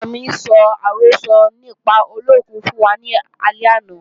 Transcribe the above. Bàbá-àgbà mi sọ àrọ́sọ nípa olókùn fún wa lálẹ́ àná